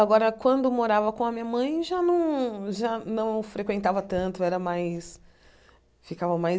Agora, quando morava com a minha mãe, já não já não frequentava tanto, era mais ficava mais